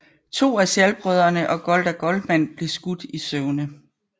To af Szall brødrene og Gołda Goldman blev skudt i søvne